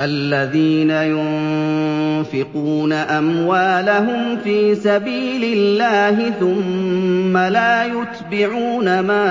الَّذِينَ يُنفِقُونَ أَمْوَالَهُمْ فِي سَبِيلِ اللَّهِ ثُمَّ لَا يُتْبِعُونَ مَا